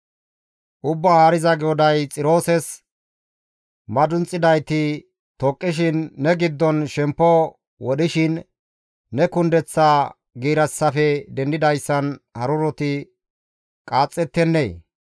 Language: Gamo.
«Ubbaa Haariza GODAY Xiroosis, ‹Madunxidayti toqqishin, ne giddon shemppo wodhishin, ne kundeththaa giirissafe dendidayssan haruroti qaaxxettennee?